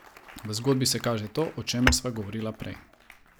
V zgodbi se kaže to, o čemer sva govorila prej.